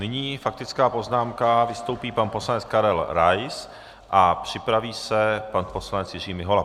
Nyní faktická poznámka, vystoupí pan poslanec Karel Rais a připraví se pan poslanec Jiří Mihola.